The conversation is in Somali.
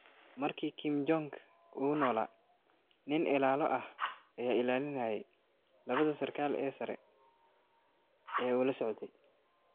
Markii Kim Jong il uu noolaa, nin ilaalo ah ayaa ilaalinayay labada sarkaal ee sare ee uu la socday.